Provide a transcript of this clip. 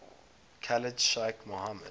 khalid sheikh mohammed